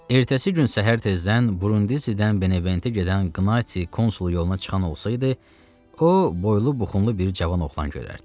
Ertəsi gün səhər tezdən Brundizidən Beneventə gedən qnati konsulun yoluna çıxan olsaydı, o, boylu buxunlu bir cavan oğlan görərdi.